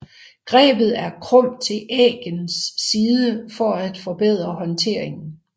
Grebet er krumt til æggens side for at forbedre håndteringen